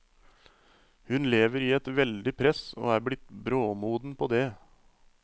Hun lever i et veldig press og er blitt bråmoden på det.